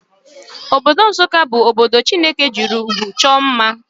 Obodo Nssụka bu obodo Chineke jiri ụgwụ chọọ mma.